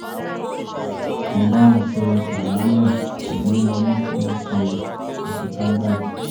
mo bá wọn ṣe àlàálẹ̀ ṣùgbọ́n mo ní kí wọ́n ṣe àṣekágbá ẹ̀